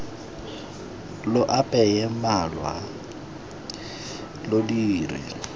lo apeye malwa lo dire